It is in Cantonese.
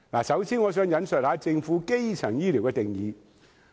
首先，我想引述政府對基層醫療的定義。